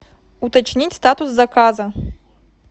уточнить статус заказа